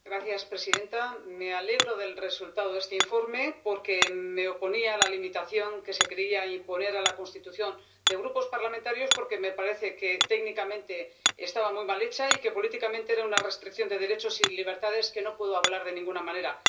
Señora presidenta, me alegro del resultado de este informe porque me oponía a la limitación que se quería imponer a la constitución de grupos parlamentarios, porque me parece que técnicamente estaba muy mal hecha y que políticamente era una restricción de derechos y libertades que no puedo avalar de ninguna manera.